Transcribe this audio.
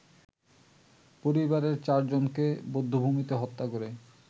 পরিবারের চারজনকে বধ্যভূমিতে হত্যা করে